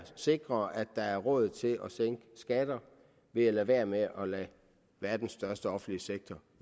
sikrer at der er råd til at sænke skatter ved at lade være med at lade verdens største offentlige sektor